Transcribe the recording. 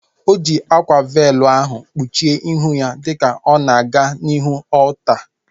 O ji akwa veelu ahu kpuchie ihu ya dịka ọ na-aga n'ihu ọlta